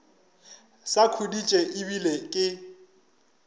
sa khuditše e bile ke